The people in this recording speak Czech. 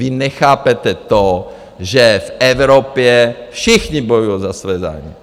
Vy nechápete to, že v Evropě všichni bojujou za své zájmy.